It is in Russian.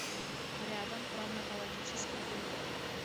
рядом травматологический пункт